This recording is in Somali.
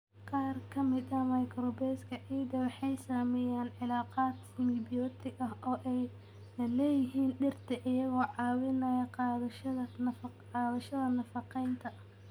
Qaar ka mid ah microbes-ka ciidda waxay sameeyaan cilaaqaad simibiyootig ah oo ay la leeyihiin dhirta, iyagoo caawinaya qaadashada nafaqeynta.